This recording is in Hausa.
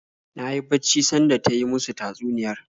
Na yi bacci sanda ta yi musu tatsuniyar